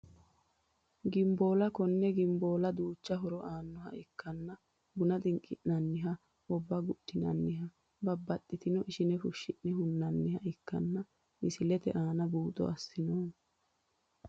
Ginboola konne ginboola duucha horo aanoha ikkana buna xinqinaniha obba gudhinaniha babaxino ishine fushine hunaniha ikanna misilete aana buuxo asinoomo.